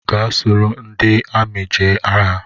Gaa soro ndị amị jee agha!